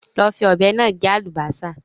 Lọ fi ọ̀bẹ náà gé àlùbásà